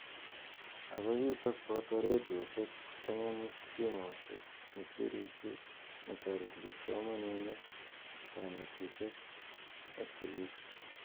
Ako chutok ko boto radioshek, ptanganyit, simoshekak ne kisirishe netareti kipsomaninik, kanetishek ak sikik.